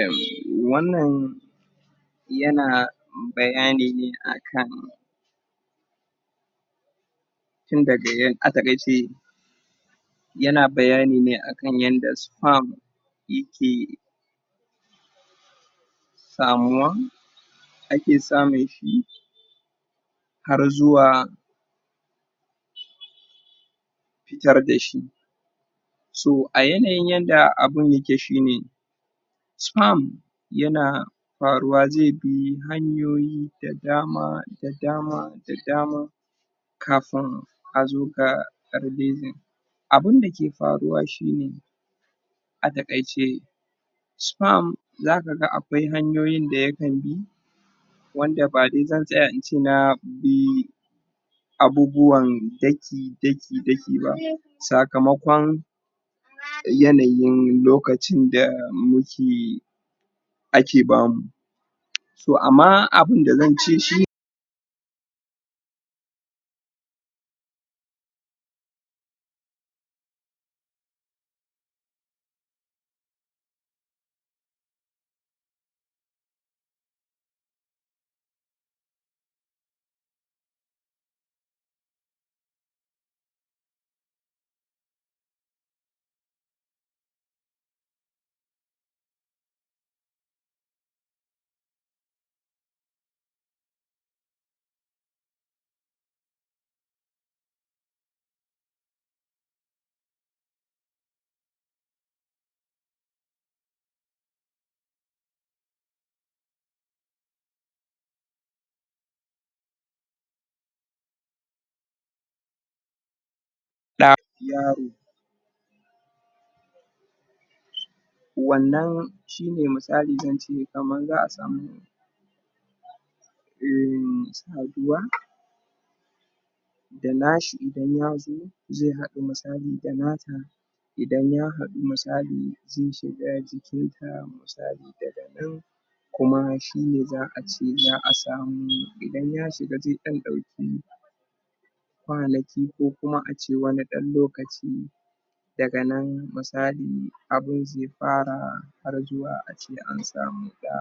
um wannan, Yana Bayani ne akan, Yana bayani ne akan yadda sperm Yake Samuya Ake samun shi Har zuwa Fitar dashi So a yanayin yadda abun yake shine Sperm, Yana faruwa zaibi hanyoyi da dama da dama Da dama Kafin A zoga abinda zaiyi Abunda ke faruwa shine A takaice Sperm Zakaga akwai hanyoyin dayakan bi Wanda badai zan tsaya in ce, na Abubuwan daki daki daki ba Sakamakon, Yanayin lokacin da nake Ake bamu To amma abunda zance shine Wannan Shine misali zance kaman za'a samu um saduwa Zai hadu musali da nata Idan ya hadu misali Zai shiga jikinta misali daga nan Kuma nan shine za'a ce za'a samu, idan ya shiga jikinta kwanaki kokuma ace dan lokaci Daga nan musali abun zai fara Ragewa ace ansamu shiga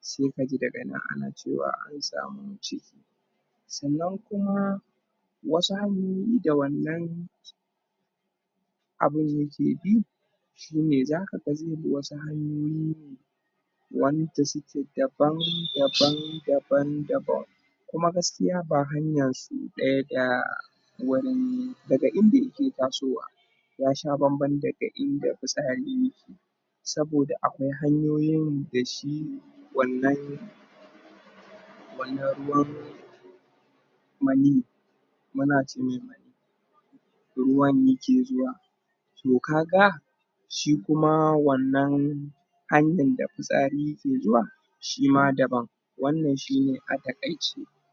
Sai kaji daga nan ana cewa an samu ciki Sannan kuma Wasu hanyoyi da wannan Abun yake bi Shine zakaga za'bi wasu hanyoyi ne wanda suke daban daban daban daban. Kuma gaskiya ba hanya ce ta, Wurin daga inda yake tasowa yasha banban daga inda fitsari yake Saboda akwai hanyoyi dashi wannan Wannan ruwan Manni Ruwa ne yake zuwa To kaga Shi kuma wannan Hanyan da fitsari yake zuwa Shima daban Wannan shine a takaice